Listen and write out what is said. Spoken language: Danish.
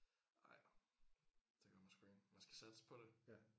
Nej det gør man sgu ikke man skal satse på det